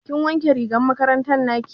Kin wanke rigar makaranta naki?